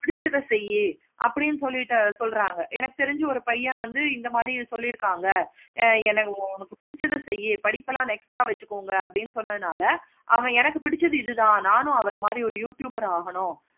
பிடிச்சதை செய்யு அப்படின்னு சொல்லிட்டு சொல்றாங்க எனக்கு தெரிஞ்சி ஒரு பயன் வந்து இந்த மாதிரி சொல்லிருக்காங்க. ஆஹ் எனக்கு வந்து உனக்கு பிடிச்சதை செய்யு படிப்பாளாம் next ஆஹ் வச்சிக்கோங்க. அப்படின்னு சொன்னதுனால அவன் எனக்கு பிடிச்சது இது தான் நானும் அவரை மாதிரி ஒரு youtuber ஆகணும்.